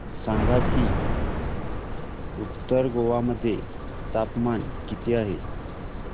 सांगा की उत्तर गोवा मध्ये तापमान किती आहे